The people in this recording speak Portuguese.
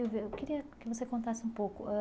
Silvia, eu queria que você contasse um pouco ãh.